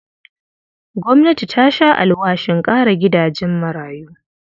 Gwamnati ta sha alwashin ƙara gidajen marayu.